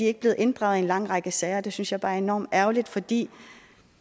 er blevet inddraget i en lang række sager det synes jeg bare er enormt ærgerligt fordi